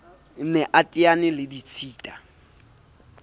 ne a teane le ditshita